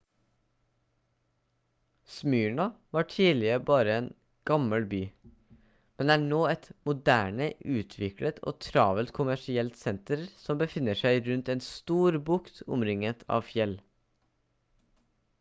smyrna var tidligere bare en gammel by men er nå et moderne utviklet og travelt kommersielt senter som befinner seg rundt en stor bukt og omringet av fjell